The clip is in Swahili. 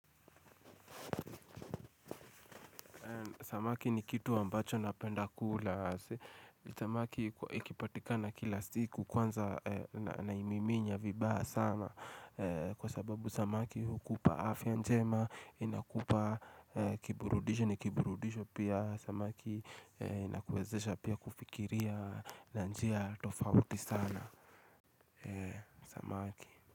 Samaki ni kitu ambacho napenda kula. Samaki ikipatikana kila siku kwanza naimiminya vibaya sana. Kwa sababu samaki ukupa afya njema, inakupa kiburudisho ni kiburudisho pia. Samaki inakwezesha pia kufikiria na njia tofauti sana. Samaki.